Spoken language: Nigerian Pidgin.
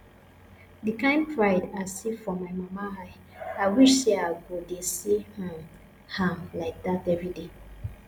the kyn pride i see for my mama eye i wish say i go dey see um am like dat everyday